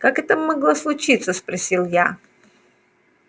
как это могло случиться спросил я